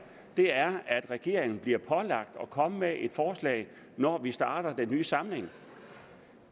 er at regeringen bliver pålagt at komme med et forslag når vi starter den nye samling